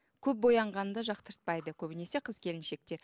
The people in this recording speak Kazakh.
көп боянғанды жақтыртпайды көбінесе қыз келіншектер